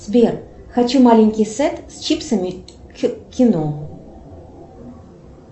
сбер хочу маленький сет с чипсами к кино